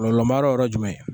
kɔlɔlɔmayɔrɔ ye yɔrɔ jumɛn ye.